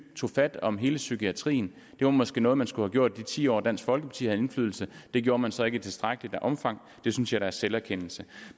tog fat om hele psykiatrien det var måske noget man skulle gjort i de ti år dansk folkeparti havde indflydelse det gjorde man så ikke i tilstrækkeligt omfang det synes jeg da er selverkendelse